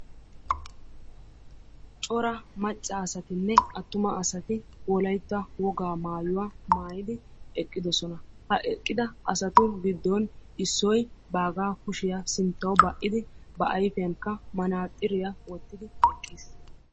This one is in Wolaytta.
cora macca asatinne attuma asati wolaytta woga maayuwa maayyidi eqqidoosonaha eqqida asatu giddon issoy baaga kushiyaa sinttaw ba"idi manaxxiriya ba ayfiyaankka wottid eqqiis.